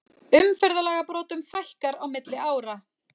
Umferðarlagabrotum fækkar á milli ára